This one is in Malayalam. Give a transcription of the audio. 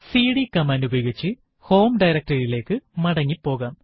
സിഡി കമാൻഡ് ഉപയോഗിച്ച് ഹോം directory യിലേക്ക് മടങ്ങി പോകാം